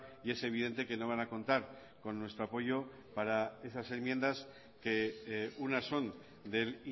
y es evidente que no van a contar con nuestro apoyo para esas enmiendas que unas son del